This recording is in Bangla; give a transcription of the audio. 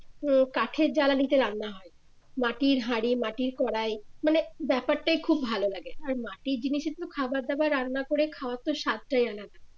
উম কাঠের জ্বালানিতে রান্না হয় মাটির হাড়ি মাটির কড়াই মানে ব্যাপারটাই খুব ভালো লাগে আর মাটির জিনিসে তো খাবার দাবার রান্না করে খাওয়া তো স্বাদটাই আলাদা